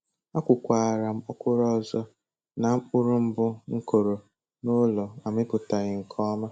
Akụkwara m ọkwụrụ ọzọ ka mkpụrụ mbụ m kọrọ n'ụlọ amịpụtaghi nke ọma.